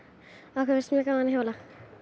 okkur finnst mjög gaman að hjóla